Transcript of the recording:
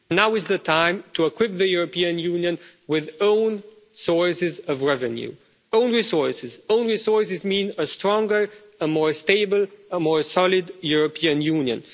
Now is the time to equip the European Union with own sources of revenue own resources. Own resources mean a stronger, a more stable, a more solid European Union.